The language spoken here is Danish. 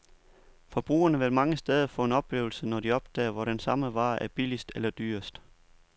Forbrugerne vil mange steder få en oplevelse, når de opdager, hvor den samme vare er billigst eller dyrest.